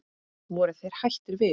Voru þeir hættir við?